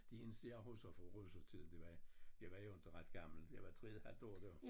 Det eneste jeg husker fra russertiden det var jeg var jo inte ret gammel jeg var 3 et halvt år dér